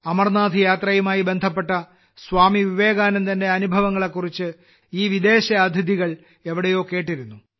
അമർനാഥ് യാത്രയുമായി ബന്ധപ്പെട്ട സ്വാമി വിവേകാനന്ദന്റെ അനുഭവങ്ങളെക്കുറിച്ച് ഈ വിദേശ അതിഥികൾ എവിടെയോ കേട്ടിരുന്നു